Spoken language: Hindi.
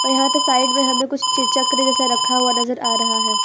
यहां पे साइड में हमें कुछ चे चक्र जैसा रखा हुआ नजर आ रहा है।